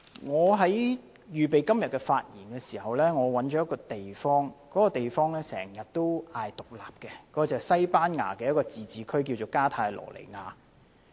我在預備今天的發言時，留意到一個經常要求獨立的地方，便是西班牙一個自治區——加泰羅尼亞。